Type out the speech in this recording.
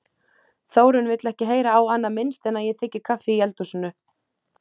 Þórunn vill ekki heyra á annað minnst en að ég þiggi kaffi í eldhúsinu.